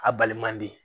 A baliman di